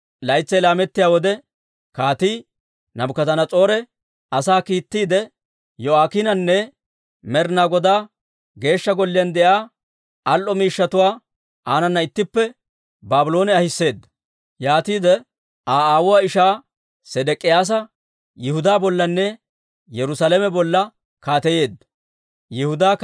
Laytsay laamettiyaa wode Kaatii Naabukadanas'oore asaa kiittiide, Yo'aakiinanne Med'inaa Godaa Geeshsha Golliyaan de'iyaa al"o miishshatuwaa aanana ittippe Baabloone ahiseedda. Yaatiide Aa aawuwaa ishaa Sedek'iyaasa Yihudaa bollanne Yerusaalame bolla kaateyeedda.